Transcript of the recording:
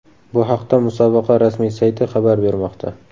Bu haqda musobaqa rasmiy sayti xabar bermoqda .